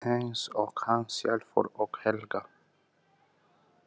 Eins og hann sjálfur og Helga.